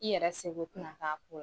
I yɛrɛ se ko t na k'a